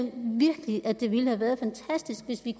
virkelig at det ville have været fantastisk hvis vi